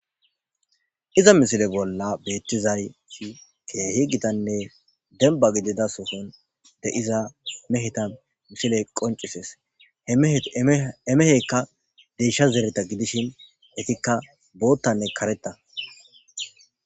Diza misile bolla keehi gitanne demba gidida sohon de7iza meheta misile qoncissees,he meheka deysha zerethi gidishin etikka boottanne karetha.